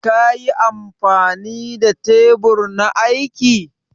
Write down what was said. Ƙa yi amfani da tebur na aiki?